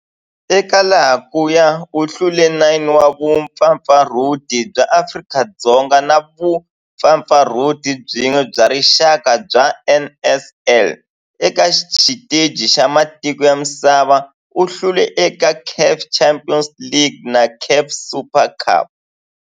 Eka laha kaya u hlule 9 wa vumpfampfarhuti bya Afrika-Dzonga na vumpfampfarhuti byin'we bya rixaka bya NSL. Eka xiteji xa matiko ya misava, u hlule eka CAF Champions League na CAF Super Cup.